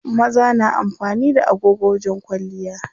Maza na amfani da agogo wajen kwalliya.